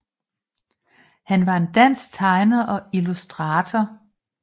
Han var en dansk tegner og illustrator